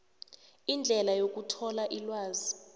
indlela yokuthola ilwazi